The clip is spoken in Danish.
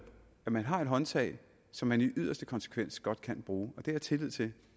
at man har et håndtag som man i yderste konsekvens godt kan bruge og det har jeg tillid til